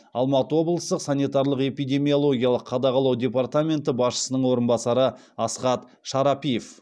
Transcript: алматы облыстық санитарлық эпидемиологиялық қадағалау департаменті басшысының орынбасары асхат шарапиев